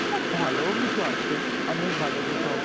আবার ভালোও কিছু আছে, অনেক ভালো কিছু আছে।